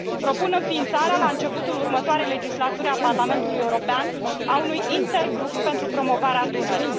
Propun înființarea, la începutul următoarei legislaturi a Parlamentului European, a unui intergrup pentru promovarea Dunării.